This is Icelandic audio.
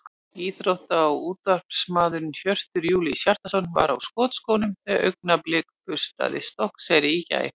Íþrótta- og útvarpsmaðurinn Hjörtur Júlíus Hjartarson var á skotskónum þegar Augnablik burstaði Stokkseyri í gær.